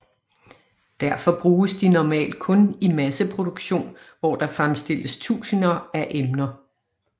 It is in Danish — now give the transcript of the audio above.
Derfor bruges de normalt kun i masseproduktion hvor der fremstilles tusinder af emner